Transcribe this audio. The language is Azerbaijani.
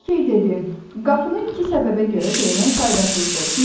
Lakey dedi: "Qapının iki səbəbə görə döymək faydasızdır.